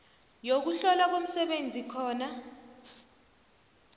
yokuhlolwa komsebenzi khona